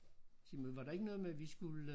Sig mig var der ikke noget med vi skulle